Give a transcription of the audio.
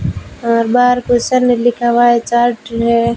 बार question में लिखा हुआ है चार्ट है।